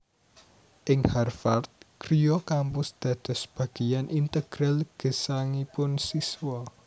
Ing Harvard griya kampus dados bageyan integral gesangipun siswa